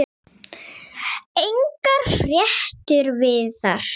Engar fréttir virðast